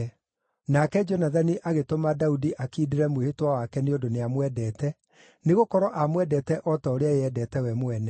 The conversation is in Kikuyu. Nake Jonathani agĩtũma Daudi akiindĩre mwĩhĩtwa wake nĩ ũndũ nĩamwendete, nĩgũkorwo aamwendete o ta ũrĩa eyendete we mwene.